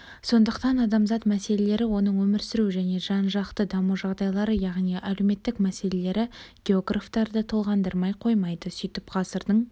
сондықтан адамзат мәселелері оның өмір сүру және жан-жақты даму жағдайлары яғни әлеуметтік мәселелері географтарды толғандырмай қоймайды сөйтіп ғасырдың